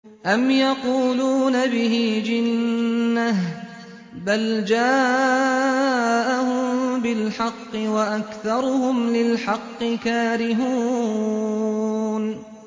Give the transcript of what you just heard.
أَمْ يَقُولُونَ بِهِ جِنَّةٌ ۚ بَلْ جَاءَهُم بِالْحَقِّ وَأَكْثَرُهُمْ لِلْحَقِّ كَارِهُونَ